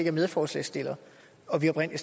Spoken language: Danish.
er medforslagsstiller og vi oprindelig